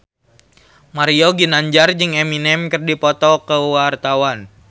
Mario Ginanjar jeung Eminem keur dipoto ku wartawan